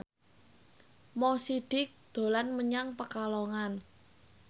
Mo Sidik dolan menyang Pekalongan